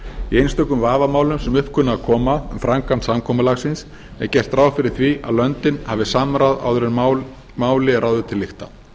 í einstökum vafamálum sem upp kunna að koma um framkvæmd samkomulagsins er gert ráð fyrir að löndin hafi samráð áður en máli er ráðið til lykta